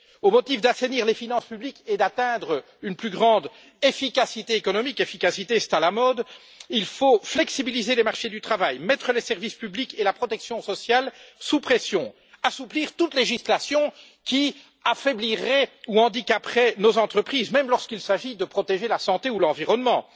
Au motif d'assainir les finances publiques et d'atteindre une plus grande efficacité économique efficacité, c'est à la mode il faut flexibiliser les marchés du travail, mettre les services publics et la protection sociale sous pression, assouplir toute législation qui affaiblirait ou handicaperait nos entreprises, même lorsqu'il s'agit de protéger la santé ou l'environnement.